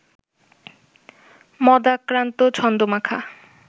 মন্দাক্রান্ত ছন্দ-মাখা